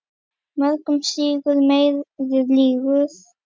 Mörinn sýgur, meiðir, lýgur.